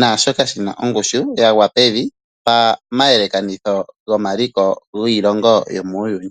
nashoka shi na ongushu ya gwa pevi pamayelekanitho gomaliko giilongo yomuuyuni.